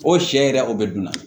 O sɛ yɛrɛ o bɛ dun na